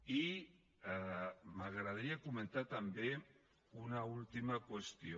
i m’agradaria comentar també una última qüestió